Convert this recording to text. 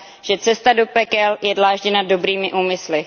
že cesta do pekel je dlážděna dobrými úmysly.